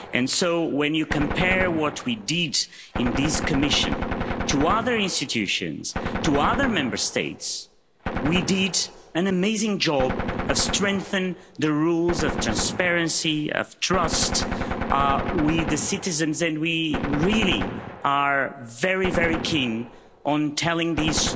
So, when you compare what we did in this Commission to other institutions, to other Member States, we did an amazing job of strengthening the rules of transparency, of trust with the citizens, and we really are very, very keen on telling this